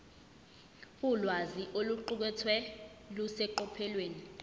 ulwazi oluqukethwe luseqophelweni